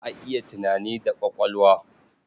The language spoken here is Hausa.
Za a yi tunani da ƙwaƙwalwa.